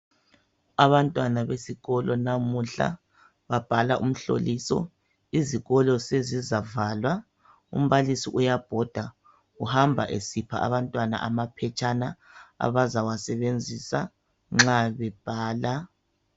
Abantwana besikolo namuhla babhala umhloliso izikolo zezizavalwa umbalisi uyabhoda uhamba esipha amaphetshana abazawasebenzisa nxa bebhala